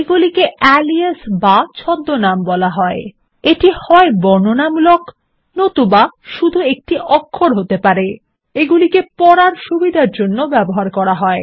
এগুলিকে আলিয়াস বা ছদ্মনাম বলা হয় এটি হয় বর্ণনামূলক নতুবা শুধু একটি অক্ষর হতে পারে এগুলিকে পড়ার সুবিধার জন্য ব্যবহার করা হয়